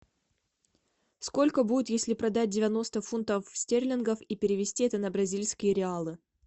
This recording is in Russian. сколько будет если продать девяносто фунтов стерлингов и перевести это на бразильские реалы